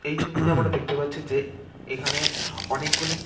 এই ছবিতে আমরা দেখতে পাচ্ছি যে এখানে অনেকগুলি--